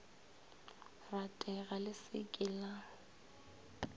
ratega le se ke la